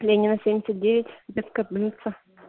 ленина семьдесят девять детская больница